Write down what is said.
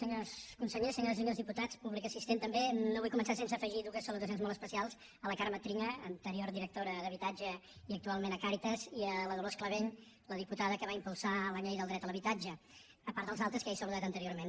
senyors consellers senyores i senyors diputats públic assistent també no vull començar sense afegir dues salutacions molt especials a la carme trilla anterior directora d’habitatge i actualment a càritas i a la dolors clavell la diputada que va impulsar la llei del dret a l’habitatge a part dels altres que ja he saludat anteriorment